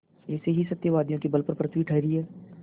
ऐसे ही सत्यवादियों के बल पर पृथ्वी ठहरी है